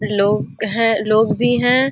लोग हैं लोग दी हैं।